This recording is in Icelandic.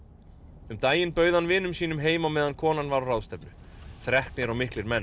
um daginn bauð hann vinum sínum heim á meðan konan var á ráðstefnu þreknir og miklir menn